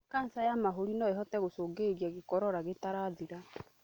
Kanja ya mahũri no ĩhote gũcũngĩrĩria gĩkorora gĩtarathira